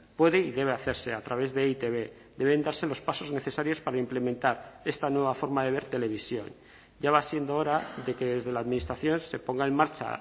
puede y debe hacerse a través de e i te be deben darse los pasos necesarios para implementar esta nueva forma de ver televisión ya va siendo hora de que desde la administración se ponga en marcha